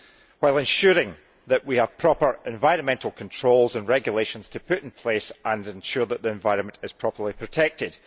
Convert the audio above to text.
while ensuring that we have proper environmental controls and regulations to put in place to ensure that the environment is properly protected.